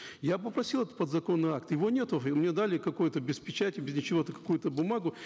я попросил этот подзаконный акт его нету мне дали какой то без печати без ничего какую то бумагу